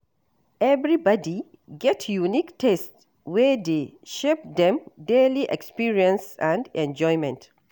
Everybody get unique taste wey dey shape dem daily experiences and enjoyment.